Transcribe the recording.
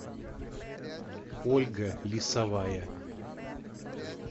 ольга лисовая